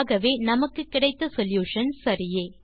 ஆகவே நமக்கு கிடைத்த சொல்யூஷன் சரியே